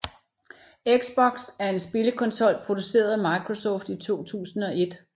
Xbox er en spillekonsol produceret af Microsoft i 2001